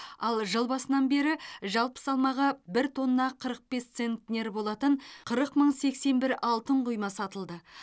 ал жыл басынан бері жалпы салмағы бір тонна қырық бес центнер болатын қырық мың сексен бір алтын құйма сатылды